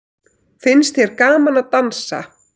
Finnst þér gaman að dansa?